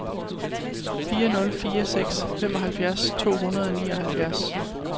fire nul fire seks femoghalvfjerds to hundrede og nioghalvfjerds